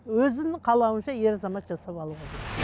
өзінің қалауынша ер азамат жасап алуға болады